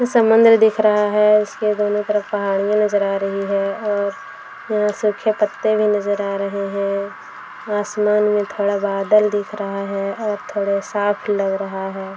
समुन्द्र दिख रहा है इसके दोनों तरफ पहाड़ियां नजर अ रही है और यहां सूखे पत्ते भी नजर आ रहे है आसमान मे थोड़ा बादल दिख रहा है और थोड़े साफ लग रहा है।